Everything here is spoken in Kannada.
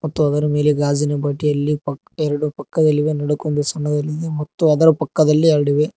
ಮತ್ತು ಅದರ ಮೇಲೆ ಗಾಜಿನ ಬಾಟಲಿ ಪಕ್ ಎರಡು ಪಕ್ಕದಲ್ಲಿ ಒನಡಕೊಂದು ಮತ್ತು ಅದರ ಪಕ್ಕದಲ್ಲಿ ಎರಡಿವೆ.